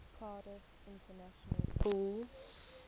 cardiff international pool